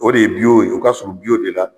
O de ye ye o ka surun de la.